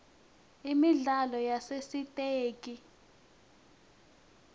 imidlalo yasesitegi